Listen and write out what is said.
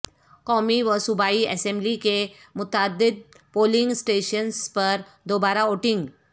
قومی و صوبائی اسبملی کے متعدد پولنگ اسٹیشنز پر دوبارہ ووٹنگ